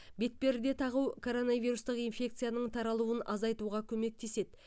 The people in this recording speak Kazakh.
бетперде тағу коронавирустық инфекцияның таралуын азайтуға көмектеседі